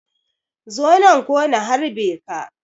Zo nan ko na harbe ka.